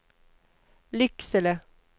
Lycksele